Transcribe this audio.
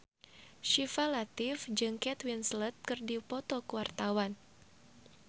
Syifa Latief jeung Kate Winslet keur dipoto ku wartawan